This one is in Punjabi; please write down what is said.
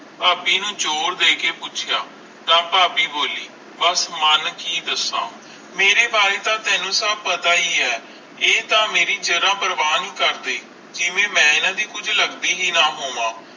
ਫਾਬੀ ਨੂੰ ਜ਼ੋਰ ਦੇਖ ਕੇ ਪੌਛਯਾ ਤਾ ਫਾਬੀ ਬੋਲੀ ਬਸ ਮਨ ਕਿ ਦਾਸ ਮੇਰੇ ਬਾਰੇ ਤਾ ਆਈ ਜ਼ਰਾ ਵੇ ਪ੍ਰਵਾਹ ਨਹੀਂ ਕਰਦੇ ਜਿਵੇ ਮਈ ਏਨਾ ਦੇ ਕੁਜ ਲੱਗਦੀ ਹੈ ਨਾ ਹੋਵੇ